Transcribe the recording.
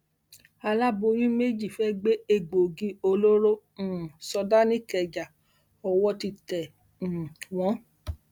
aláboyún méjì fẹẹ gbé egbòogi olóró um sọdá nìkẹjá owó ti tẹ um wọn